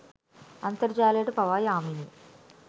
අන්තර්ජාලයට පවා යාමෙනි.